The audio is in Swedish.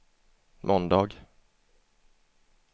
måndag